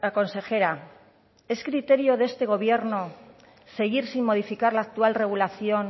consejera es criterio de este gobierno seguir sin modificar la actual regulación